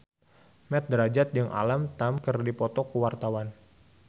Mat Drajat jeung Alam Tam keur dipoto ku wartawan